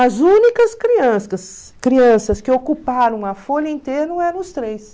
As únicas crianças crianças que ocuparam uma folha inteira eram os três.